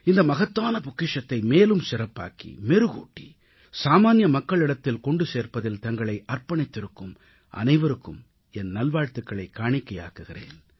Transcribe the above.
இந்த மகத்தான பொக்கிஷத்தை மேலும் சிறப்பாக்கி மெருகூட்டி சாமான்ய மக்களிடத்தில் கொண்டு சேர்ப்பதில் தங்களை அர்ப்பணித்திருக்கும் அனைவருக்கும் என் நல்வாழ்த்துகளைக் காணிக்கையாக்குகிறேன்